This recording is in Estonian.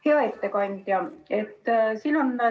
Hea ettekandja!